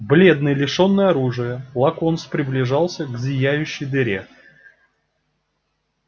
бледный лишённый оружия локонс приблизился к зияющей дыре